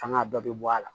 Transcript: Fanga dɔ bɛ bɔ a la